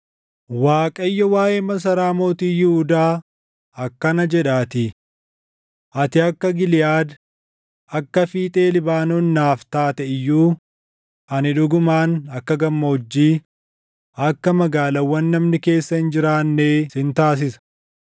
Waaqayyo waaʼee masaraa mootii Yihuudaa akkana jedhaatii: “Ati akka Giliʼaad, akka fiixee Libaanoon naaf taate iyyuu, ani dhugumaan akka gammoojjii, akka magaalaawwan namni keessa hin jiraannee sin taasisa.